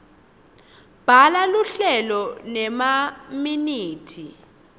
bhala luhlelo nemaminithi